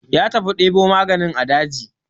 Ya tafi ɗebo magani a daji.